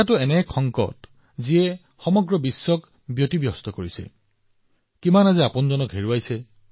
এইটো এক সংকট যিয়ে সমগ্ৰ বিশ্বক অসুবিধাত পেলাইছে কিমান জন লোকে তেওঁলোকৰ প্ৰিয়জনক হেৰুৱাইছে